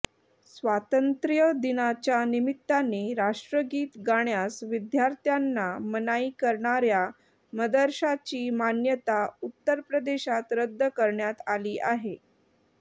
स्वातंत्र्यदिनाच्या निमित्ताने राष्ट्रगीत गाण्यास विद्यार्थ्यांना मनाई करणाऱ्या मदरशाची मान्यता उत्तर प्रदेशात रद्द करण्यात आली आहे